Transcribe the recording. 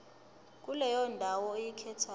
kuleyo ndawo oyikhethayo